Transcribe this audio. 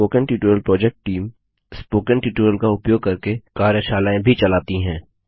spoken tutorial project team spoken tutorial का उपयोग करके कार्यशालाएँ भी चलाती है